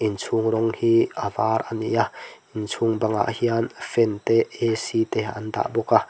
inchhung rawng hi a var a ni a inchhung bangah hian fan te a c te an dah bawk a.